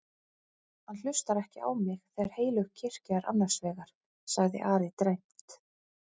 Hann hlustar ekki á mig þegar heilög kirkja er annars vegar, sagði Ari dræmt.